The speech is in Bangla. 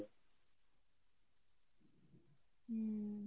হম।